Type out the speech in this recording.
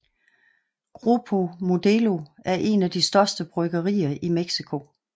Grupo Modelo er en af de største bryggerier i Mexico